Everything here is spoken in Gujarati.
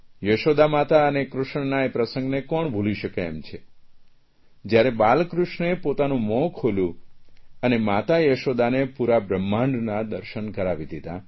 યશોદા માત અને કૃષ્ણના એ પ્રસંગને કોણ ભૂલી શકે એમ છે જયારે બાલકૃષ્ણે પોતાનું મોં ખોલ્યું અને માતા યશોદાને પૂરા બ્રહ્માંડનાં દર્શન કરાવી દીધાં